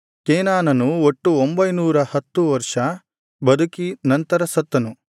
ಕೇನಾನನು ಒಟ್ಟು ಒಂಭೈನೂರ ಹತ್ತು ವರ್ಷ ಬದುಕಿ ನಂತರ ಸತ್ತನು